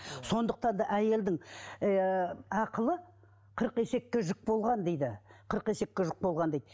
сондықтан да әйелдің ііі ақылы қырық есекке жүк болған дейді қырық есекке жүк болған дейді